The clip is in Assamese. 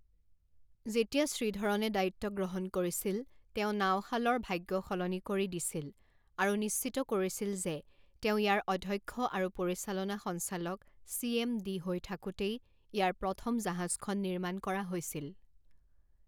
যেতিয়া শ্ৰীধৰণে দায়িত্ব গ্ৰহণ কৰিছিল তেওঁ নাওশালৰ ভাগ্য সলনি কৰি দিছিল আৰু নিশ্চিত কৰিছিল যে তেওঁ ইয়াৰ অধ্যক্ষ আৰু পৰিচালনা সঞ্চালক চি এম ডি হৈ থাকোঁতেই ইয়াৰ প্ৰথম জাহাজখন নিৰ্মাণ কৰা হৈছিল।